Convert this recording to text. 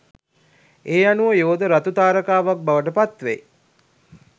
ඒ අනුව යෝධ රතු තාරකාවක් බවට පත්වෙයි